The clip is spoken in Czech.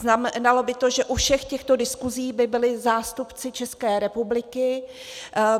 Znamenalo by to, že u všech těchto diskusí by byli zástupci České republiky.